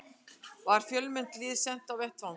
Var fjölmennt lið sent á vettvang